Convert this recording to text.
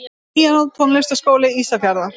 Píanó Tónlistarskóli Ísafjarðar.